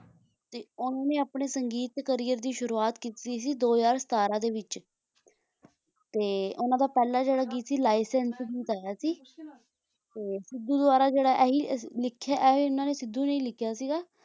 ਤੇ ਉਨ੍ਹਾਂ ਦੇ ਆਪਣੇ ਸੰਗੀਤ career ਦੀ ਸ਼ੁਰੂਆਤ ਕੀਤੀ ਸੀ ਦੋ ਹਜ਼ਾਰ ਸਤਾਰਾਂ ਦੇ ਵਿੱਚ ਤੇ ਉਨ੍ਹਾਂ ਦਾ ਪਹਿਲਾ ਜਿਹੜਾ ਗੀਤ ਸੀ ਲਾਈਸੇਂਸ ਗਾਇਆ ਸੀ ਸਿੱਧੂ ਦੁਆਰਾ ਜਿਹੜਾ ਹੀ ਲਿਖਿਆ ਇਹ ਵੀ ਸਿੱਧੂ ਨੇ ਲਿਖਿਆ ਸੀਗਾ